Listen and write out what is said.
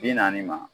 Bi naani ma